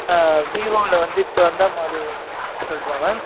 ஆஹ் vivo ல வந்து, இப்ப வந்தா, model சொல்லட்டுமா mam